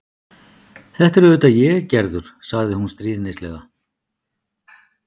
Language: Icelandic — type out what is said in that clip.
Þetta er auðvitað ég, Gerður, sagði hún stríðnislega.